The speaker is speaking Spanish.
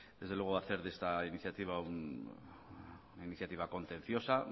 desde luego hacer de esta iniciativa una iniciativa contenciosa